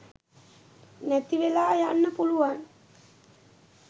නැති වෙලා යන්න පුලුවන්.